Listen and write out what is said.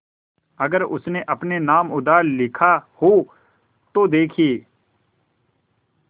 अगर उसने अपने नाम उधार लिखा हो तो देखिए